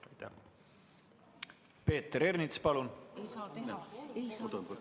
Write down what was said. Peeter Ernits, palun!